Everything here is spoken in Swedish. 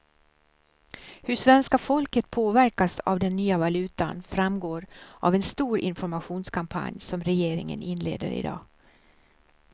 Hur svenska folket påverkas av den nya valutan framgår av en stor informationskampanj som regeringen inleder i dag.